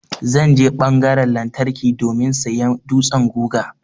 Zan je ɓangaran lantarki domin sayan dutsan guga.